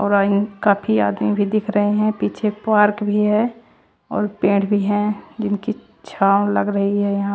काफी आदमी भी दिख रहे हैं पीछे पार्क भी है और पेड़ भी हैं जिनकी छांव लग रही है यहां--